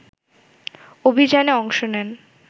অভিযানে অংশ নেন